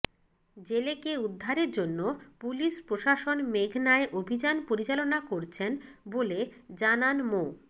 জেলেকে উদ্ধারের জন্য পুলিশ প্রশাসন মেঘনায় অভিযান পরিচালনা করছেন বলে জানান মো